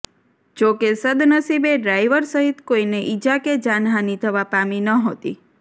જો કે સદ્દનસીબે ડ્રાઇવર સહિત કોઇને ઇજા કે જાનહાની થવા પામી નહોતી